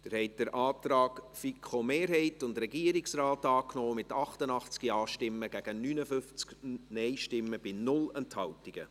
Sie haben den Antrag FiKo-Mehrheit und Regierungsrat angenommen, mit 88 Ja- gegen 59 Nein-Stimmen bei 0 Enthaltungen.